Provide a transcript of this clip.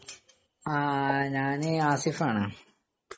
ങാഹ്. ഞാന് ആസിഫാണ്